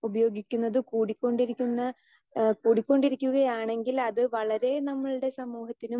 speaker 2 ഉപയോഗിക്കുന്നത് കൂടിക്കൊണ്ടിരിക്കുന്ന ഏഹ് കൂടിക്കൊണ്ടിരിക്കുകയാണെങ്കിൽ അത് വളരെ നമ്മളുടെ സമൂഹത്തിനും